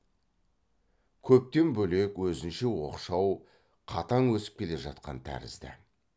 көптен бөлек өзінше оқшау қатаң өсіп келе жатқан тәрізді